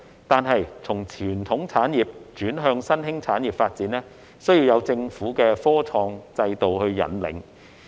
可是，從傳統產業轉向新興產業發展需要有政府的科創制度引領。